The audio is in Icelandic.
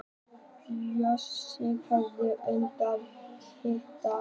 Bjössi horfir undrandi á Kidda.